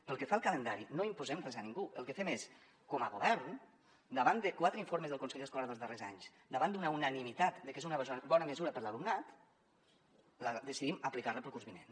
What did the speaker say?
pel que fa al calendari no imposem res a ningú el que fem és com a govern da·vant de quatre informes del consell escolar dels darrers anys davant d’una unani·mitat de que és una bona mesura per a l’alumnat decidim aplicar·la el curs vinent